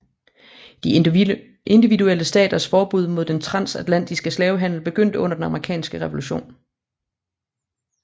De individuelle staters forbud mod den transatlantiske slavehandel begyndte under den amerikanske revolution